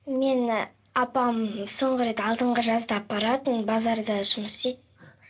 мені апам соңғы рет алдыңғы жазда апаратын базарда жұмыс істейді